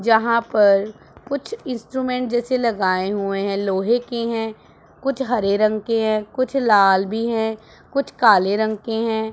जहां पर कुछ इंस्ट्रूमेंट जैसे लगाये हुए है लोहे की है कुछ हरे रंग की है कुछ लाल भी है कुछ काले रंग के है।